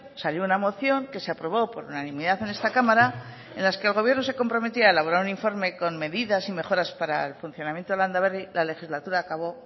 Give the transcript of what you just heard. salió una moción que se aprobó por unanimidad en esta cámara en las que el gobierno se comprometía a elaborar un informe con medidas y mejoras para el funcionamiento de landaberri la legislatura acabó